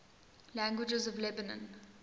languages of lebanon